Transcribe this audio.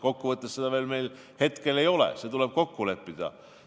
Kokkuvõttes meil seda hetkel veel ei ole, see tuleb kokku leppida.